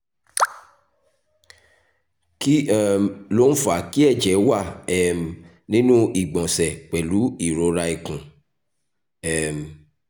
kí um ló ń fa kí ẹ̀jẹ̀ wà um nínú ìgbọ̀nsẹ̀ pẹ̀lú ìrora ikùn? um